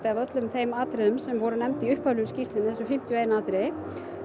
af öllum þeim atriðum sem voru nefnd í upphaflegu skýrslunni um þessi fimmtíu og eitt atriði